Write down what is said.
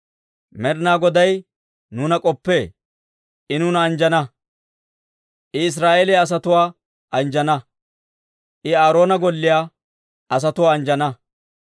Med'inaa Goday nuuna k'oppee; I nuuna anjjana. I Israa'eeliyaa asatuwaa anjjana. I Aaroona golliyaa asatuwaa anjjana.